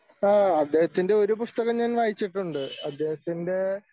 ആ അദ്ദേഹത്തിൻ്റെ ഒരു പുസ്തകം ഞാൻ വായിച്ചിട്ടുണ്ട് അദ്ദേഹത്തിൻ്റെ